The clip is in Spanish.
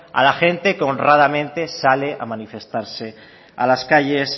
a la gente que honradamente sale a manifestarse a las calles